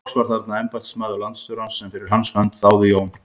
Loks var þarna embættismaður landstjórans sem fyrir hans hönd þáði Jón